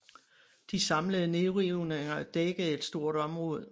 De samlede nedrivninger dækkede et stort område